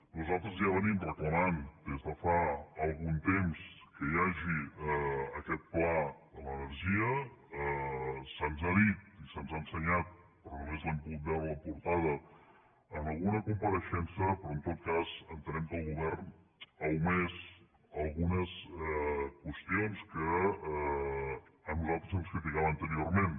nosaltres ja reclamem des de fa algun temps que hi hagi aquest pla de l’energia se’ns ha dit i se’ns ha ensenyat però només n’hem pogut veure la portada en alguna compareixença però en tot cas entenem que el govern ha omès algunes qüestions que a nosaltres ens criticava anteriorment